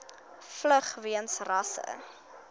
vlug weens rasse